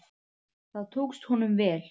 Það tókst honum vel.